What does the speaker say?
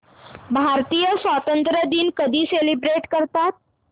भारतीय स्वातंत्र्य दिन कधी सेलिब्रेट करतात